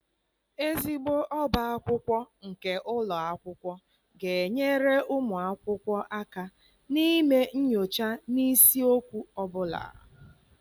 ezigbo ọbá akwụkwọ nke ụlọ akwụkwọ ga-enyere ụmụ akwụkwọ aka ime nyocha n'isiokwu ọ bụla.